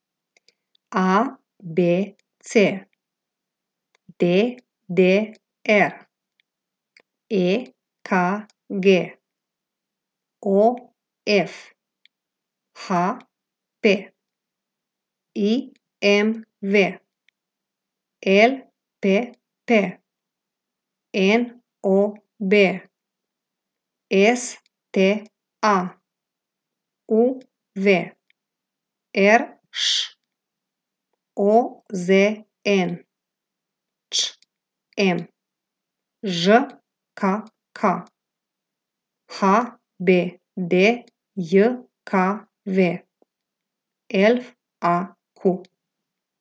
A B C; D D R; E K G; O F; H P; I M V; L P P; N O B; S T A; U V; R Š; O Z N; Č M; Ž K K; H B D J K V; F A Q.